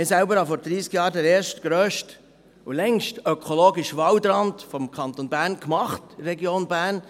Ich selbst machte vor dreissig Jahren den ersten grössten und längsten ökologischen Waldrand des Kantons Bern in der Region Bern.